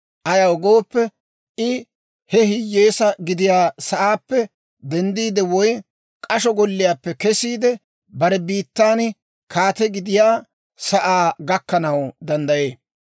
Ayaw gooppe, I he hiyyeesaa gidiyaa sa'aappe denddiide, woy k'asho golliyaappe kesiide, bare biittan kaate gidiyaa sa'aa gakkanaw danddayee.